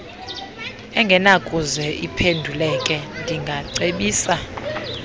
engenakuze iphenduleke ndingacebisa